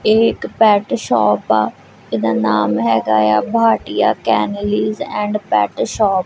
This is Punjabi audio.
ਇਹ ਇੱਕ ਪੈਟ ਸ਼ੋਪ ਆ ਇਹਦਾ ਨਾਮ ਹੈਗਾ ਏ ਆ Bhatia kennels and pet shop.